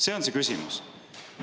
See on see küsimus.